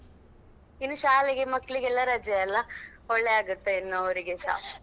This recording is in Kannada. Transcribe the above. ಇನ್ನು ಶಾಲೆಗೆ ಮಕ್ಳಿಗೆಲ್ಲ ರಜೆ ಅಲ್ಲಾ ಒಳ್ಳೆ ಆಗುತ್ತೆ ಇನ್ನು ಅವ್ರಿಗೇಸಾ.